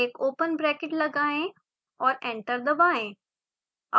एक open bracket लगाएं और एंटर दबाएं